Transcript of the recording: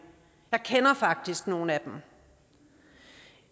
jeg kender faktisk nogle af dem